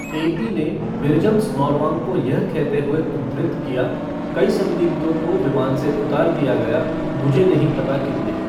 AP ने मिर्जम स्नोरवांग को यह कहते हुए उद्धृत किया कई संदिग्धों को विमान से उतार दिया गया मुझे नहीं पता कितने।